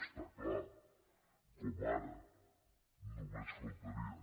està clar com ara només faltaria